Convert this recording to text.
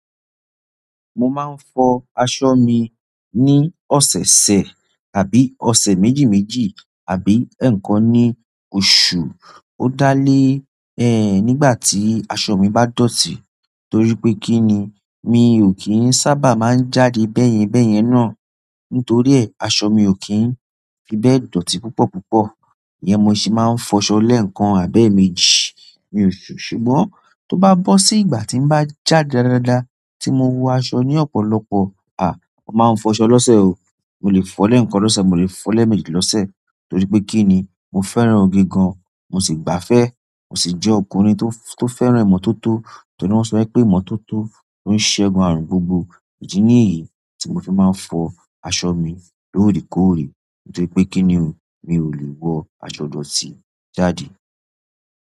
Mo máa ń fọ aṣọ mi ní ọ̀sẹ̀ ṣẹ̀ àbí ọ̀sẹ̀ méjì méjì àbí ẹ̀ẹ̀kan ní oṣù. Ó dá lé ẹ nígbà tí aṣọ mi bá dọ̀tí torí pé kí ni, mi ò kí ń sábà máa ń jáde bẹ́yẹn bẹ́yẹn náà. Nítorí ẹ, aṣọ mi ò kí ń fi bẹ́ẹ̀ dọ̀tí púpọ̀ púpọ̀. Íyen mo se máa ń fọṣọ lẹ́ẹ̀kan àbí ẹẹ̀méjì. Ṣùgbọ́n tó bá bọ́ sí ìgbà tí bá jáde dáadáa tí mo wo aṣọ ní ọ̀pọ̀lọpọ̀, à! Mo máa ń fọṣọ lọ́ṣe o. Mo lè fọ lẹ̀ẹ̀kan lọ́sẹ̀, mo lè fọ lẹ́ẹ̀méjì lọ́sẹ̀ torí pé kí ni, mo fẹ́ràn òge gan, mo sì gbáfẹ́, mo sì jẹ́ ọkùnrin tó fẹ́ràn ìmọ́tótó. Torí pé wọ́n sọ pé ìmọ́tótó lo ṣegun àrùn gbogbo. Idí níyí tí mo fi máa ń fọ aṣọ mi lóre kóòre torí pé kí ni, mi ò lè wọ aṣọ dọ̀tí jáde.